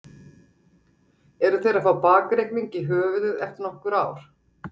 Eru þeir að fá bakreikning í höfuðið eftir nokkur ár?